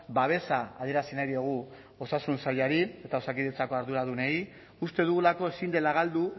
babesa adierazi nahi diogu osasun sailari eta osakidetzako arduradunei uste dugulako ezin dela galdu